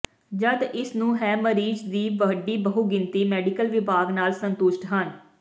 ਜਦ ਇਸ ਨੂੰ ਹੈ ਮਰੀਜ਼ ਦੀ ਵੱਡੀ ਬਹੁਗਿਣਤੀ ਮੈਡੀਕਲ ਵਿਭਾਗ ਨਾਲ ਸੰਤੁਸ਼ਟ ਹਨ